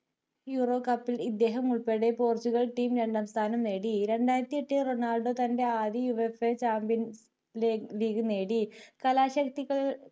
euro cup ൽ ഇദ്ദേഹം ഉൾപ്പടെ പോർച്ചുഗൽ team രണ്ടാംസ്ഥാനം നേടി രണ്ടായിരത്തി എട്ടിൽ റൊണാൾഡോ തൻ്റെ ആദ്യ USAchampions league നേടി കലാശക്തികൾ